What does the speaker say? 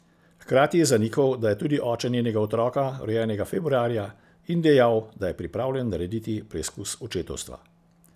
Hkrati je zanikal, da je tudi oče njenega otroka, rojenega februarja, in dejal, da je pripravljen narediti preizkus očetovstva.